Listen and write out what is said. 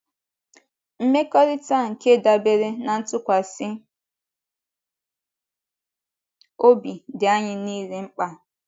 Mmekọrịta nke dabeere ná ntụkwasị obi dị anyị nile mkpa